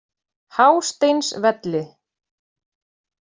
Hásteinsvelli